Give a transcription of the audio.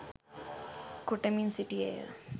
කොටමින් සිටියේ ය.